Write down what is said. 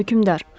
Hökmdar.